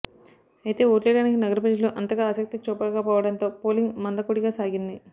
అయితే ఓట్లేయడానికి నగర ప్రజలు అంతగా ఆసక్తి చూపకపోవడంతో పోలింగ్ మందకోడిగా సాగింది